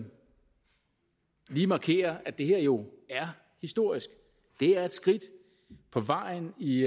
lige markere at det her jo er historisk det er et skridt på vejen i